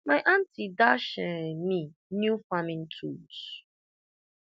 my aunty dash um me new farming tools